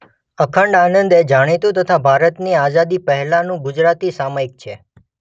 અખંડ આનંદ એ જાણીતું તથા ભારતની આઝાદી પહેલાનું ગુજરાતી સામાયિક છે.